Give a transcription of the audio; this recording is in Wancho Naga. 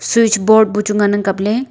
switch board ngan ang kapley.